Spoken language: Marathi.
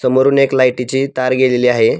समोरून एक लाईटीची तार गेलेली आहे.